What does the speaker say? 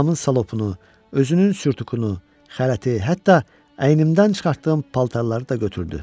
Anamın şalapunu, özünün sürtükünü, xələti, hətta əynimdən çıxartdığım paltarları da götürdü.